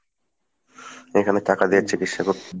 এখানে টাকা দিয়ে চিকিৎসা করতে